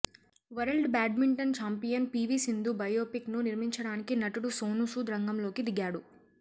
world badminton champion P V Sindhu biopic ను నిర్మించడానికి నటుడు సోనూ సూద్ రంగంలోకి దిగాడు